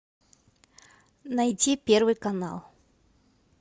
найти первый канал